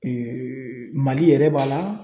Mali yɛrɛ b'a la